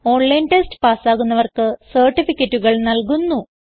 online test പാസ്സാകുന്നവർക്ക് സർട്ടിഫികറ്റുകൾ നല്കുന്നു